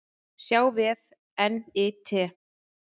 sjá vef NYT